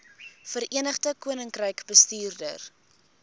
verenigde koninkryk bestuur